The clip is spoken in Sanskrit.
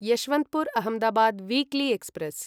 Yesvantpur Ahmedabad weekly express